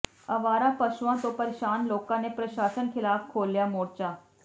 ਆਵਾਰਾ ਪਸ਼ੂਆਂ ਤੋਂ ਪਰੇਸ਼ਾਨ ਲੋਕਾਂ ਨੇ ਪ੍ਰਸ਼ਾਸਨ ਖਿਲਾਫ ਖੋਲ੍ਹਿਆ ਮੋਰਚਾ